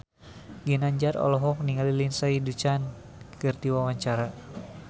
Ginanjar olohok ningali Lindsay Ducan keur diwawancara